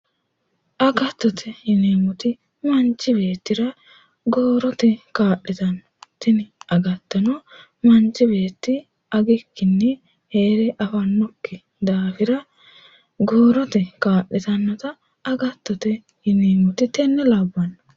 agattote yineemmoti manchi beettira goorote kaa'litanno tini agattono manchi beetti agikkinni heere afannokki daafira goorote kaa'litannota agattote yineemmote tenne labbanno.